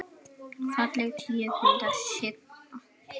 Falleg tíu punda hrygna.